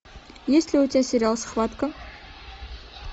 есть ли у тебя сериал схватка